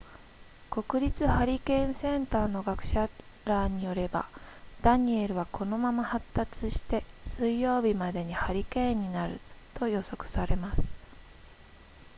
国立ハリケーンセンターの科学者らによればダニエルはこのまま発達して水曜日までにハリケーンになると予測されます